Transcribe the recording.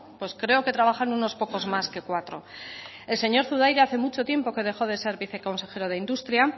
pues creo que trabajan unos pocos más que cuatro el señor zudaira hace mucho tiempo que dejó de ser viceconsejero de industria